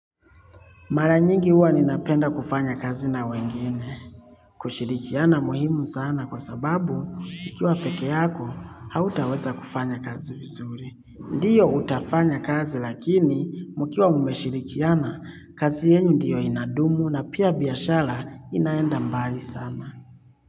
Mara nyingi uwa ninapenda kufanya kazi na wengine. Kushirikiana muhimu sana kwa sababu, ukiwa peke yako, hautaweza kufanya kazi vizuri. Ndiyo utafanya kazi lakini mukiwa mumeshirikiana kazi yenu ndiyo inadumu na pia biashara inaenda mbali sana.